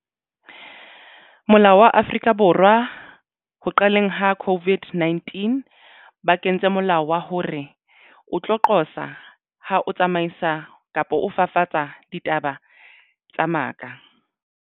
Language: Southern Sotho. Molao wa Afrika Borwa ho qaleng ha COVID-19 ba kentse molao wa hore o tlo qosa ha o tsamaisa kapo o fafatsa ditaba tsa maka.